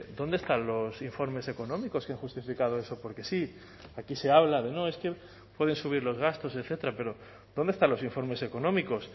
dónde están los informes económicos qué han justificado eso porque sí aquí se habla de no es que pueden subir los gastos etcétera pero dónde están los informes económicos